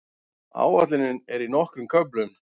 Áætlunin er í nokkrum köflum.